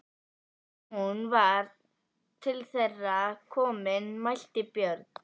Þegar hún var til þeirra komin mælti Björn